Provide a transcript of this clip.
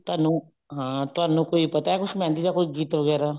ਤੁਹਾਨੂੰ ਹਾਂ ਤੁਹਾਨੂੰ ਕੋਈ ਪਤਾ ਕੁੱਝ ਮਹਿੰਦੀ ਦਾ ਗੀਤ ਵਗੈਰਾ